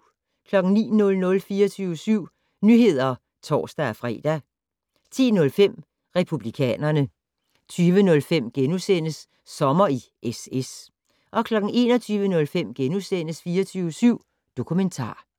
09:00: 24syv Nyheder (tor-fre) 10:05: Republikanerne 20:05: Sommer i SS * 21:05: 24syv Dokumentar *